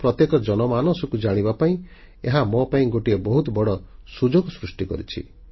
ଦେଶର ପ୍ରତ୍ୟେକ ଜନମାନସକୁ ଜାଣିବା ପାଇଁ ଏହା ମୋ ପାଇଁ ଗୋଟିଏ ବହୁତ ବଡ଼ ସୁଯୋଗ ସୃଷ୍ଟି କରିଛି